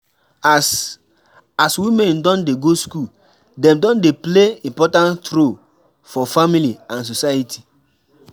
As as women don dey go school dem don dey play important role for family and society